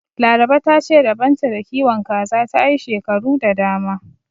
Laraba ta ce rabon ta da kiwon kaza ta yi shekaru da dama.